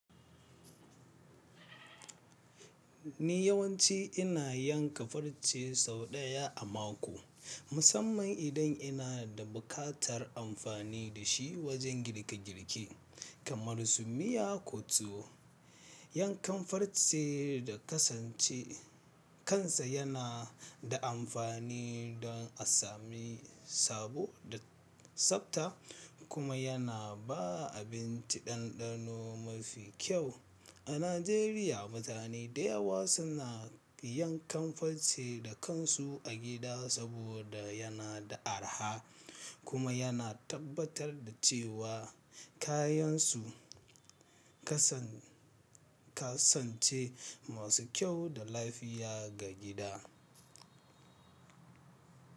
Ni yawanci ina yanka farce sau ɗaya a mako, musamman idan ina da buƙatar amfani da shi wajen girke girke, kamar su miya ko tuwo. Yankan farce da kasance kansa yana da amfani don a sami sabo da tsabta, kuma yana ba abinci ɗanɗano mafi kyau. A Najeriya, mutane da yawa suna yankan farce da kansu a gida saboda yana da araha kuma yana tabbatar da cewa kayansu, kasance masu kyau da lafiya ga gida.